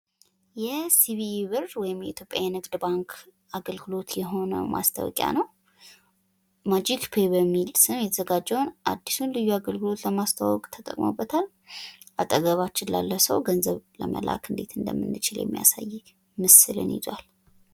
ይህ የሲቢ ብር ወይም የኢትዮጵያ ንግድ ባንክ አገልግሎት የሆነው ማስታወቂያ ነው ። ማጂክ ፔይ በሚል ስም የተዘጋጀውን አዲሱን አገልግሎት ለማስተዋወቅ ተጠቅሞበታል ። አጠገባችን ላለ ሰው ገንዘብ ለመላክ እንዴት እንደምንችል የሚያሳየው ምስልን ይዟል ።